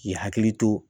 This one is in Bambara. K'i hakili to